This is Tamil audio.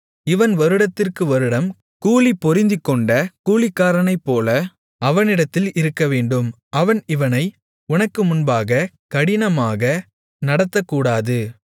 இவன் வருடத்திற்கு வருடம் கூலிபொருந்திக்கொண்ட கூலிக்காரனைப்போல அவனிடத்தில் இருக்கவேண்டும் அவன் இவனை உனக்கு முன்பாக கடினமாக நடத்தக்கூடாது